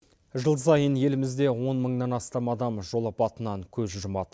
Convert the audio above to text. жыл сайын елімізде он мыңнан астам адам жол апатынан көз жұмады